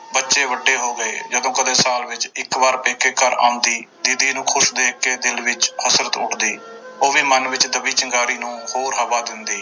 ਬੱਚੇ ਵੱਡੇ ਹੋ ਗਏ ਜਦੋਂ ਕਦੇ ਸਾਲ ਵਿੱਚ ਇੱਕ ਵਾਰ ਪੇਕੇ ਘਰ ਆਉਂਦੀ ਦੀਦੀ ਨੂੰ ਖ਼ੁਸ਼ ਦੇਖ ਕੇ ਦਿਲ ਵਿੱਚ ਹਸਰਤ ਉੱਠਦੀ ਉਹ ਵੀ ਮੰਨ ਵਿੱਚ ਦੱਬੀ ਚਿੰਗਾਰੀ ਨੂੰ ਹੋਰ ਹਵਾ ਦਿੰਦੀ।